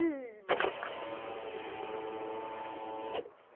Ih, mas... Não começou não começou ainda, só um minutinho.